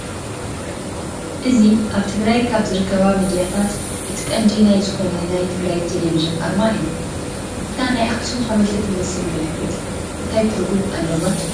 እዚ ኣብ ትግራይ ካብ ዝርከባ ሚድያታት እቲ ቀንዲ ናይ ዝኾነ ናይ ትግራይ ቴሌቪዥን ኣርማ እዩ፡፡ እታ ናይ ኣክሱም ሓወልቲ ትመስል ምልክት እንታይ ትርጉም ኣለዋ ትብሉ?